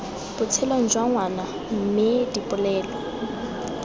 botshelong jwa ngwana mme dipoelo